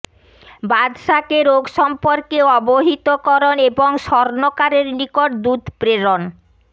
বাদশাকে রোগ সম্পর্কে অবহিতকরণ এবং স্বর্ণকারের নিকট দূত প্রেরণ